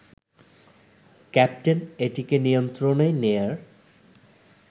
captain এটিকে নিয়ন্ত্রণে নেয়ার